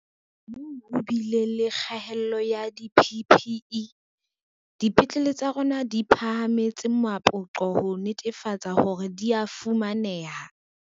Moo ho bileng le kgaello ya di-PPE, dipetlele tsa rona di phahametse mapoqo ho netefatsa hore di a fumaneha.